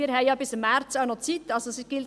Wir haben noch Zeit bis im März.